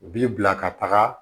U bi bila ka taga